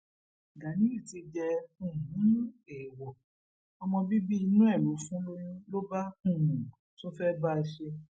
ganiyun ti jẹ um èèwọ ọmọ bíbí inú ẹ ló fún lóyún ló bá um tún fẹẹ bá a ṣe é